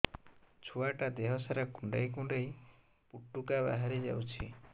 ଛୁଆ ଟା ଦେହ ସାରା କୁଣ୍ଡାଇ କୁଣ୍ଡାଇ ପୁଟୁକା ବାହାରି ଯାଉଛି